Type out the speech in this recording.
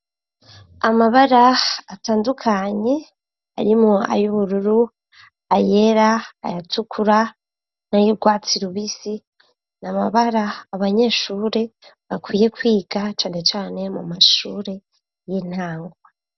Amabara atandukanye arimwo ay'ubururu, ayera, ayatukura n'ayurwatsi rubisi n'amabara abanyeshure bakwiye kwiga cane cane mu mashure y'intango.